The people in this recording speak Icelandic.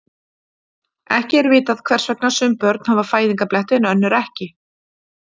Ekki er vitað hvers vegna sum börn hafa fæðingarbletti en önnur ekki.